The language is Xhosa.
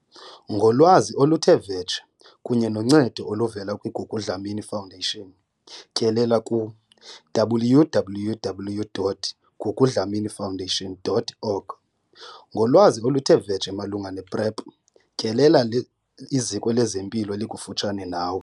Ngolwazi oluthe vetshe kunye noncedo oluvela kwi-Gugu Dlamini Foundation, tyelela ku- www.gugudlamini-foundation.org. Ngolwazi oluthe vetshe malunga ne-PrEP, tyelela iziko lezempilo elikufutshane nawe.